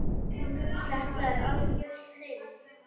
Þetta er algjör snilld.